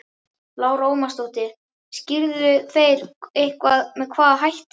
Lára Ómarsdóttir: Skýrðu þeir eitthvað með hvaða hætti?